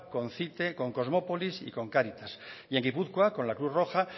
con cite con kosmopolis y con cáritas y en gipuzkoa con la cruz roja